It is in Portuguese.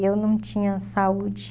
eu não tinha saúde.